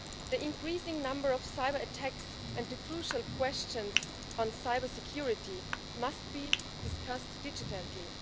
The increasing number of cyberattacks and the crucial questions on cybersecurity must be discussed diligently.